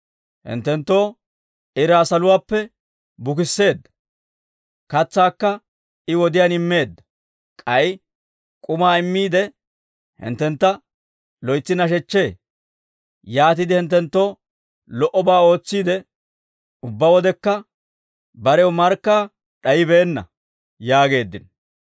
Hinttenttoo iraa saluwaappe bukisseedda; katsaakka I wodiyaan immeedda; k'ay k'umaa immiide, hinttentta loytsi nashechchee; yaatiide hinttenttoo lo"obaa ootsiide, ubbaa wodekka barew markkaa d'ayibeenna» yaageeddino.